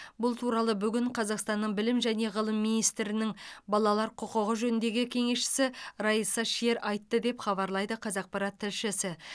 бұл туралы бүгін қазақстанның білім және ғылым министрінің балалар құқығы жөніндегі кеңесшісі райса шер айтты деп хабарлайды қазақпарат тілшісі